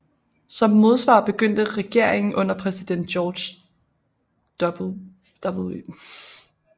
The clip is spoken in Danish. Som modsvar begyndte regeringen under præsident George W